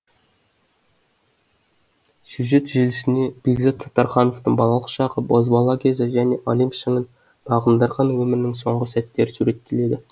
сюжет желісінде бекзат саттархановтың балалық шағы бозбала кезі және олимп шыңын бағындырған өмірінің соңғы сәттері суреттеледі